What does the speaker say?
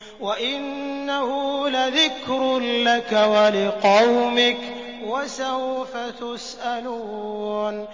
وَإِنَّهُ لَذِكْرٌ لَّكَ وَلِقَوْمِكَ ۖ وَسَوْفَ تُسْأَلُونَ